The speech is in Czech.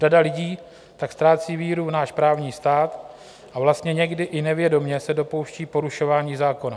Řada lidí tak ztrácí víru v náš právní stát a vlastně někdy i nevědomě se dopouští porušování zákona.